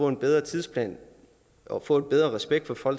en bedre tidsplan og forbedret respekt for